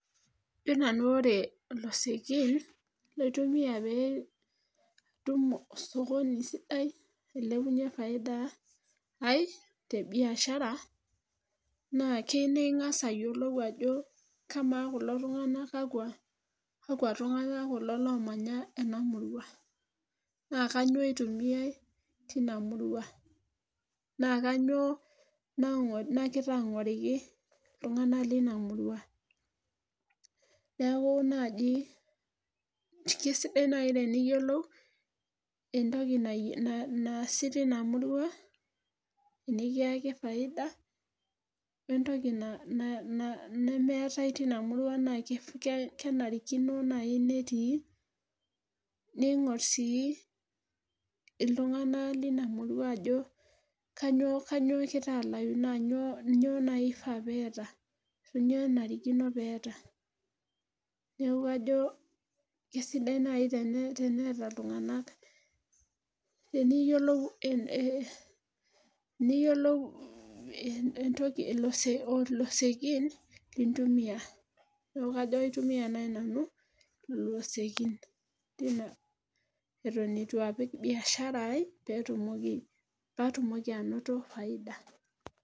Kajo nanu ore losekin laitumia pee atum osokoni sidai olilepunye faida aib te biashara naa kei ningas aayiolou ajo kamaa kulo tunganak kakua tunganak kulo loomanya ena murua. naa kainyioo itumiae tina murua. naa kainyioo nagira ang'oriki iltunganak leina murua. neeku naaji keisidai naaji teniyiolo entoki naasi teina murua. nikiaki faida wentoku nemeetae teina murua naa kenarikino naaji netii neing'or sii iltunganak leina murua ajo kainyioo egira alayu naa inyoo naaji ifaa peeta. inyoo kenarikino peeta. neeku ajo kisidai naaji teneeta iltunganak liyiolou entoki, ilosekin kintumia. neeku kajo laitumia naaji nanu ilosekin leina Eton eitu apik biashara ai pee atumoki anoto faida.